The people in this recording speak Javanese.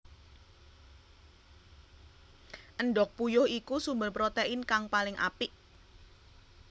Endhog puyuh iku sumber protein kang paling apik